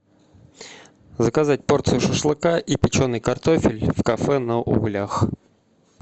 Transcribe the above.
заказать порцию шашлыка и печеный картофель в кафе на углях